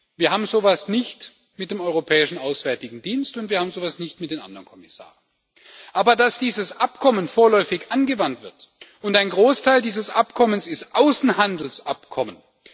Wir haben so etwas nicht mit dem Europäischen Auswärtigen Dienst, und wir haben so etwas nicht mit den anderen Kommissaren, aber dass dieses Abkommen vorläufig angewandt wird, und ein Großteil dieses Abkommens ist Außenhandelsabkommen.